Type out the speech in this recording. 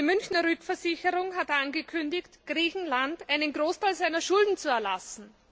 Die Münchner Rückversicherung hat angekündigt, Griechenland einen Großteil seiner Schulden zu erlassen.